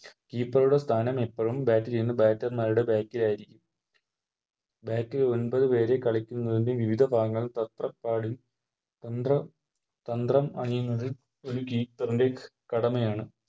Keeper ടെ സ്ഥാനം എപ്പഴും Bat ചെയ്യുന്ന Bater മാരുടെ Back ൽ ആയിരിക്കും Back ല് ഒമ്പത് പേര് കളിക്കുന്നതിൻറെ വിവിധ ഭാഗങ്ങൾ തത്രപ്പാടിൽ തന്ത്ര തന്ത്രം അറിയുന്നതിൽ ഒര് Keeper ൻറെ കടമയാണ്